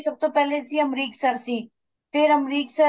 ਤੇ ਸਭ ਤੋਂ ਪਹਿਲੇ ਅਮਰਿਕ sir ਸੀ ਫੇਰ ਅਮਰਿਕ sir